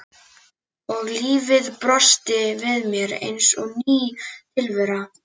Og lífið brosti við mér eins og ný tilvera.